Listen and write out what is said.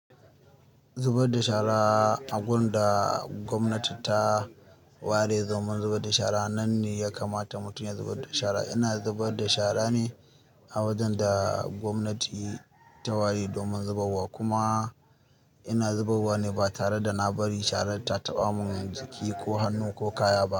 Zubar da shara a gun da gwamnati ta ware domin zubar da shara nan ne ya kamata mutum ya zubar da shara. Ina zubar da shara ne a wajan da gwamnati ta ware domin zubarwa kuma ina zubarwa ne ba tare da na bari shara ta taɓa mun jiki ko hannu ko kaya ba.